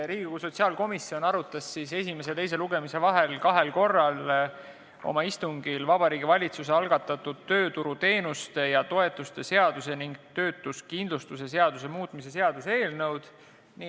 Riigikogu sotsiaalkomisjon arutas esimese ja teise lugemise vahel kahel korral oma istungil Vabariigi Valitsuse algatatud tööturuteenuste ja -toetuste seaduse ning töötuskindlustuse seaduse muutmise seaduse eelnõu.